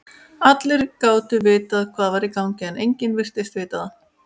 Allir gátu vitað hvað var í gangi, en enginn virtist vita það.